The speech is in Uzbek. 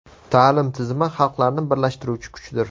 Ta’lim tizimi xalqlarni birlashtiruvchi kuchdir.